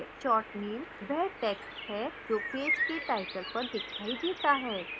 short name वह text है जो पेज के टाइटल पर दिखाई देता है